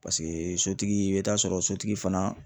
Paseke sotigi i bɛ taa sɔrɔ sotigi fana